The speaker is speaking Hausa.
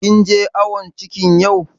Kin je awon cikin yau?